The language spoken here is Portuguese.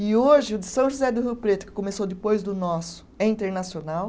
E hoje o de São José do Rio Preto, que começou depois do nosso, é internacional.